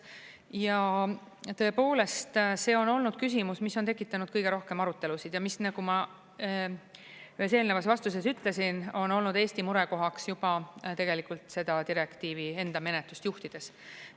Ja tõepoolest, see on olnud küsimus, mis on tekitanud kõige rohkem arutelusid ja mis, nagu ma ühes eelnevas vastuses ütlesin, on olnud Eesti murekohaks juba tegelikult seda direktiivi enda menetlust juhtides.